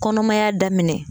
Kɔnɔmaya daminɛ